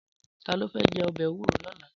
Tàló fè jè òbè éwúró lòlá?